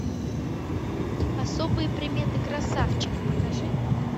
особые приметы красавчик покажи